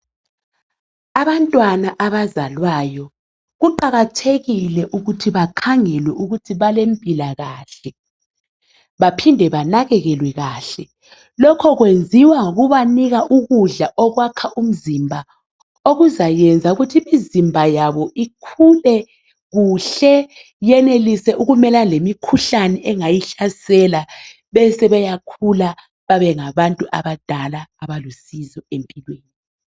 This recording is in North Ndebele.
Abantwana abazalwayo kuqakathekile ukubana bekhangelwe ,bakhule kuhle ,badle ukudla okulomsoco ukuze bakhule kuhle babe lusizo nxa sebekhulile sebengabadala.